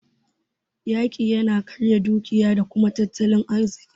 Yaƙi yana karya dukiya da tattalin arziki.